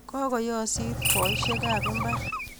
Kokoyoosit boiseikab mbar.